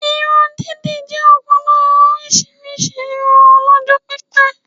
Irun dídì jẹ́ ọ̀kan lára orísirísi irun ọlọ́jọ́ pípẹ́